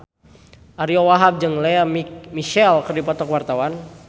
Ariyo Wahab jeung Lea Michele keur dipoto ku wartawan